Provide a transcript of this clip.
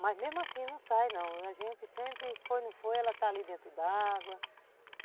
Mas mesmo assim não sai não, a gente sempre foi, não foi, ela está ali dentro d'água.